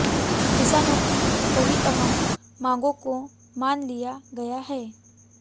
किसानों की कई अहम मांगों को मान लिया गया है